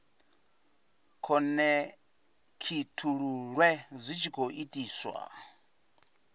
khonekhithululwe zwi tshi khou itiswa